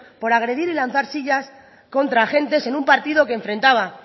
por agredir y lanzar sillas contra agentes en un partido que enfrentaba